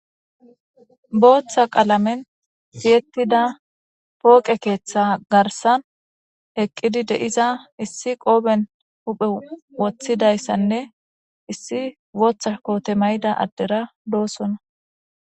booththa qalamen siyettida pooqe keeththa garsan eqqidi deiza issi qooben huphe woththidayssanne issi wooththa koote mayida addera doosonna